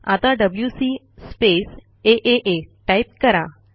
आता WC space आ type करा